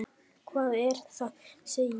Hvað er það? segi ég.